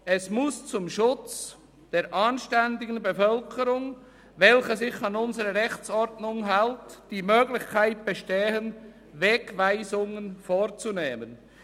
Es muss zum Schutz der anständigen Bevölkerung, welche sich an unsere Rechtsordnung hält, die Möglichkeit bestehen, Wegweisungen vorzunehmen.